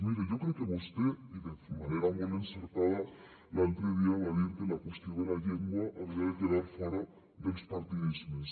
miri jo crec que vostè i de manera molt encertada l’altre dia va dir que la qüestió de la llengua havia de quedar fora dels partidismes